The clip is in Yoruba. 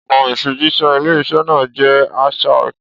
Ọ̀nà ìfijíṣẹ́ ilé-iṣẹ́ náà jẹ́ archaic.